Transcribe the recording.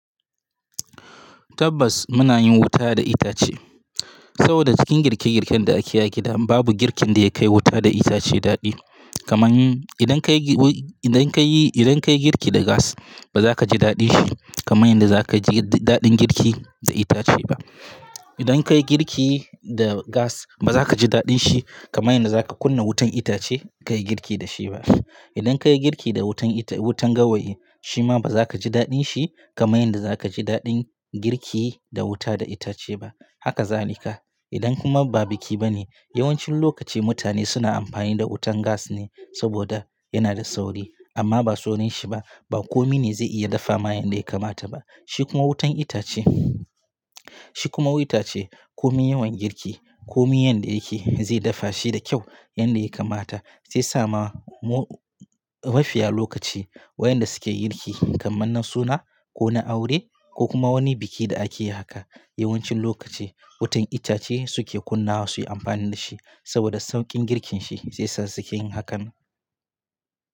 Tabbas muna yin wuta da itace saboda cikin girke girken da ake yi a gida babu girkin da ya kai wuta da itace daɗi. Kaman idan ka yi, idan ka yi, idan ka yi girki da gas baza ka ji daɗin shi kamar yadda za ka ji daɗin girki da itace ba. Idan ka yi girki da gas baza ka ji daɗin shi kamar yadda za ka kunna wutan itace ka yi girki da shi ba. Idan ka yi girki da wutan wutan gawayi shi ma baza ka ji daɗin shi kamar yadda za ka ji daɗin girki da wuta da itace ba. Haka za ne ka. Idan kuma ba biki ba ne yawancin lokaci mutane suna amfani da wutan gas ne saboda yana da sauri. Amma ba saurin shi ba, ba kome ne zai iya dafa ma yanda ya kamata ba. Shi kuma wutan itace, shi kuma wutan itace kome yawan girki kome yanda yake zai dafa shi da kyau yanda ya kamata sai sama mafiya lokaci wayanda suke girki kamar nan suna ko na aure ko kuma wani biki da akeyi haka. Yawancin lokaci wutan itace suke kunna su yi amfani da shi saboda sauƙin girkin shi shi yasa suke yin hakan.